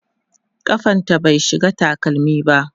kafanta bai shiga takalmi ba